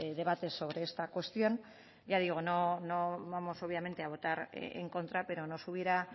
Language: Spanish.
debates sobre esta cuestión ya digo no vamos obviamente a votar en contra pero nos hubiera